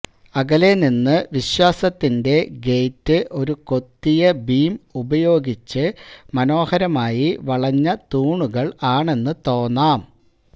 അകലെ നിന്ന് വിശ്വാസത്തിന്റെ ഗേറ്റ് ഒരു കൊത്തിയ ബീം ഉപയോഗിച്ച് മനോഹരമായി വളഞ്ഞ തൂണുകൾ ആണെന്ന് തോന്നാം